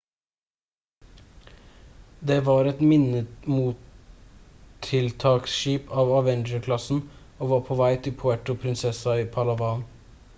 det var et minemottiltaksskip av avenger-klassen og var på vei til puerto princesa i palawan